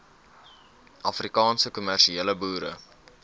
afrikaanse kommersiële boere